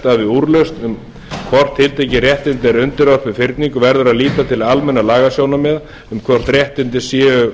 við úrlausn um hvort tiltekin réttindi eru undirorpin fyrningu verður að líta til almennra lagasjónarmiða um hvort réttindin séu